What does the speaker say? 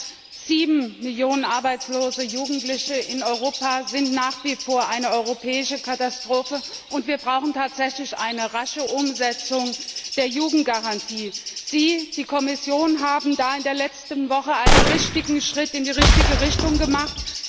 Mehr als sieben Millionen arbeitslose Jugendliche in Europa sind nach wie vor eine europäische Katastrophe, und wir brauchen tatsächlich eine rasche Umsetzung der Jugendgarantie. Sie, die Kommission, haben in der letzten Woche einen richtigen Schritt in die richtige Richtung gemacht.